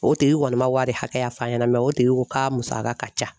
O tigi kɔni ma wari hakɛya f'a ɲɛna mɛ o tigi ko k'a musaka ka ca